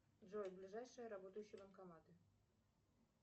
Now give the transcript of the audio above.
джой ближайшие работающие банкоматы